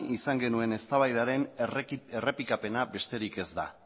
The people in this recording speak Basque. izan genuen eztabaidaren errepikapena besterik ez da